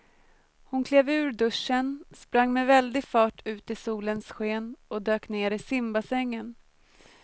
Hon klev ur duschen, sprang med väldig fart ut i solens sken och dök ner i simbassängen.